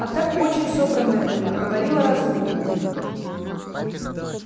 а так очень собранная была говорила разумно